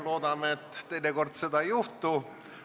Loodame, et enam seda ei juhtu.